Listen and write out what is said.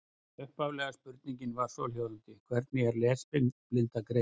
Upphaflega spurningin var svohljóðandi: Hvernig er lesblinda greind?